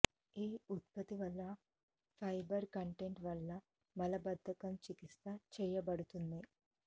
ఈ ఉత్పత్తి వలన ఫైబర్ కంటెంట్ వల్ల మలబద్ధకం చికిత్స చేయబడుతుంది